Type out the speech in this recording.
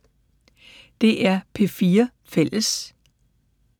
DR P4 Fælles